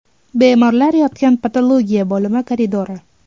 Bemorlar yotgan patologiya bo‘limi koridori.